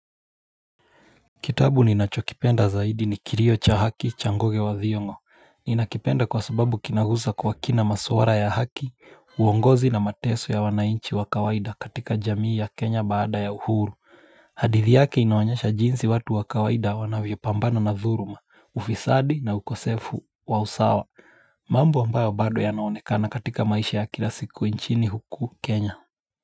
Kitabu ni nacho kipenda zaidi ni kilio cha haki changoge wa ziongo. Ninakipenda kwa sababu kinahusa kwa kina masuara ya haki, uongozi na mateso ya wanainchi wa kawaida katika jamii ya Kenya baada ya uhuru. Hadithi yake inoanyesha jinsi watu wakawaida wanavyo pambana na dhuluma, ufisadi na ukosefu wa usawa. Mambo ambayo bado yanaonekana katika maisha ya kila siku inchini huku Kenya.